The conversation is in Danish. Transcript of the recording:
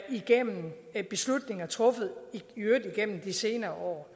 igennem beslutninger truffet igennem de senere år